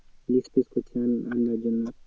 List ফিস্ট করতে হবে জন্য